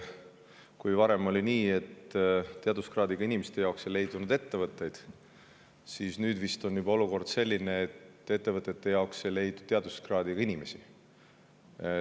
Nimelt, varem oli nii, et teaduskraadiga inimeste jaoks ei leidunud ettevõtteid, aga nüüd on olukord juba selline, et ettevõtetesse ei leidu teaduskraadiga inimesi.